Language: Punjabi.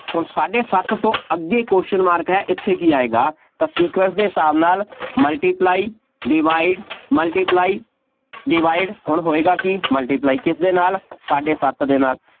ਹੁਣ ਸਾਢੇ ਸੱਤ ਤੋਂ ਅੱਗੇ question mark ਹੈ ਇੱਥੇ ਕੀ ਆਏਗਾ, ਤਾਂ sequence ਦੇ ਹਿਸਾਬ ਦੇ ਨਾਲ multiply divide multiply divide ਹੁਣ ਹੋਏਗਾ ਕੀ multiply ਕਿਸਦੇ ਨਾਲ, ਸਾਢੇ ਸੱਤ ਦੇ ਨਾਲ,